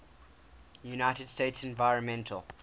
united states environmental